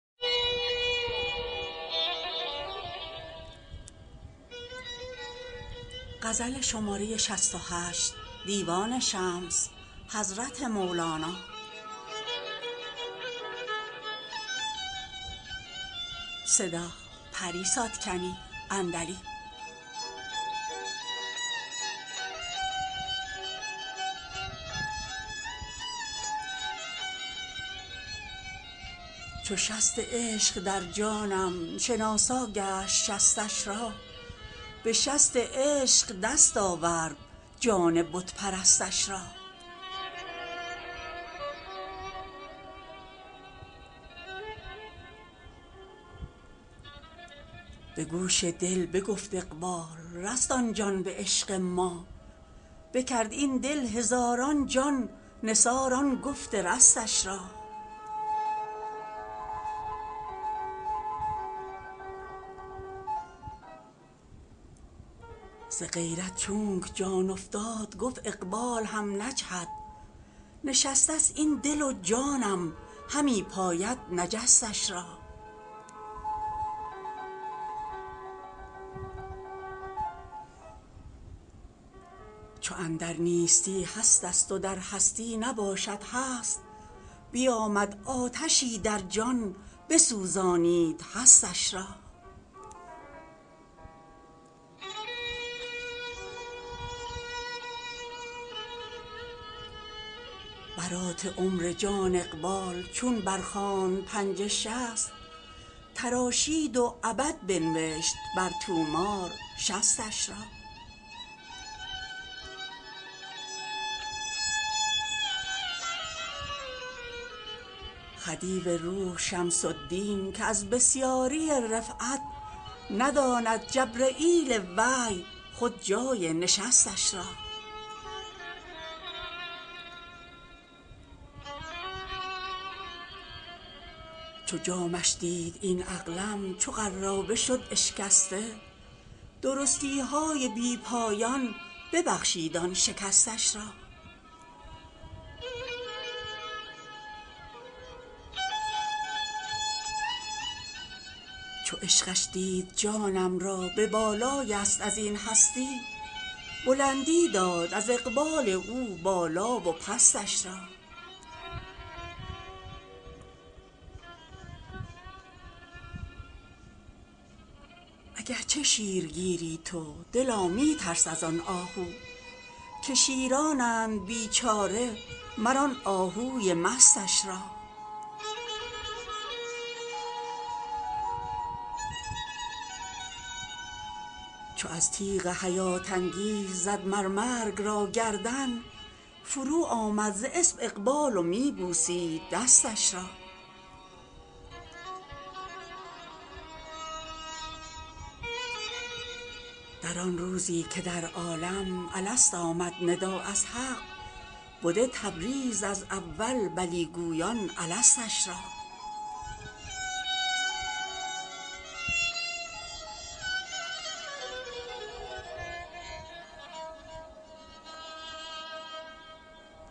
چو شست عشق در جانم شناسا گشت شستش را به شست عشق دست آورد جان بت پرستش را به گوش دل بگفت اقبال رست آن جان به عشق ما بکرد این دل هزاران جان نثار آن گفت رستش را ز غیرت چونک جان افتاد گفت اقبال هم نجهد نشستست این دل و جانم همی پاید نجستش را چو اندر نیستی هستست و در هستی نباشد هست بیامد آتشی در جان بسوزانید هستش را برات عمر جان اقبال چون برخواند پنجه شصت تراشید و ابد بنوشت بر طومار شصتش را خدیو روح شمس الدین که از بسیاری رفعت نداند جبرییل وحی خود جای نشستش را چو جامش دید این عقلم چو قرابه شد اشکسته درستی های بی پایان ببخشید آن شکستش را چو عشقش دید جانم را به بالای یست از این هستی بلندی داد از اقبال او بالا و پستش را اگر چه شیرگیری تو دلا می ترس از آن آهو که شیرانند بیچاره مر آن آهوی مستش را چو از تیغ حیات انگیز زد مر مرگ را گردن فروآمد ز اسپ اقبال و می بوسید دستش را در آن روزی که در عالم الست آمد ندا از حق بده تبریز از اول بلی گویان الستش را